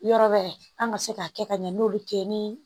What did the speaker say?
Yɔrɔ wɛrɛ an ka se k'a kɛ ka ɲɛ n'olu tɛ ni